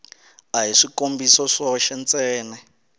a hi swikombiso swoxe ntsene